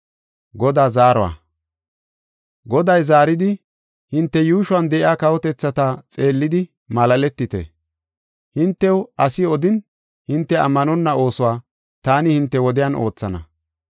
Goday zaaridi, “Hinte yuushuwan de7iya kawotethata xeellidi malaaletite. Hintew asi odin hinte ammanonna oosuwa taani hinte wodiyan oothana.